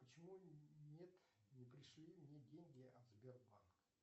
почему нет не пришли мне деньги от сбербанка